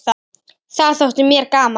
Það þótti mér gaman.